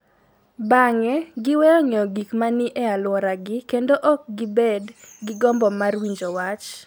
Bang�e, giweyo ng�eyo gik ma ni e alworagi kendo ok gibed gi gombo mar winjo wach.